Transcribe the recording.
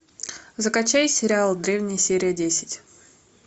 закачай сериал древние серия десять